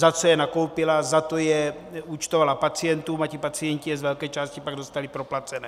Za co je nakoupila, za to je účtovala pacientům a ti pacienti je z velké části pak dostali proplacené.